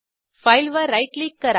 file वर right click करा